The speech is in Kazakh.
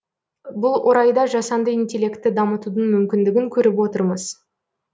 бұл орайда жасанды интеллектті дамытудың мүмкіндігін көріп отырмыз